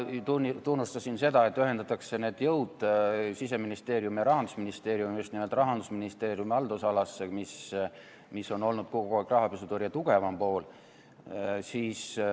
Ma tunnustasin seda, et ühendatakse need jõud, Siseministeerium ja Rahandusministeerium, just nimelt Rahandusministeeriumi haldusalasse, mis on olnud kogu aeg rahapesutõrje tugevam pool.